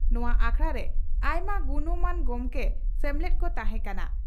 ᱱᱚᱣᱟ ᱟᱠᱷᱲᱟᱨᱮ ᱟᱭᱢᱟ ᱜᱩᱱᱢᱟᱱ ᱜᱚᱢᱠᱮ ᱥᱮᱢᱞᱮᱫ ᱠᱚ ᱛᱟᱦᱮᱸ ᱠᱟᱱᱟ ᱾